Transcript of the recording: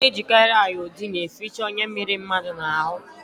Ana ejikari iodine eficha onya mere mmadu na hu